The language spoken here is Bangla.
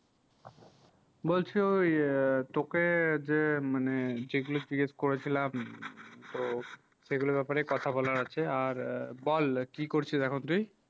বলছি ওই তোকে যে মানে যে গুলু জিগেস করেছিলাম তো সেই গুলু ব্যাপারে কথা বলার আছে আর বল কি করছিস এখন তুই